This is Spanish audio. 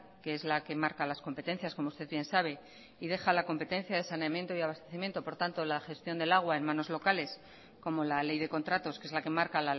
que es la que marca las competencias como usted bien sabe y deja la competencia de saneamiento y abastecimiento por tanto la gestión del agua en manos locales como la ley de contratos que es la que marca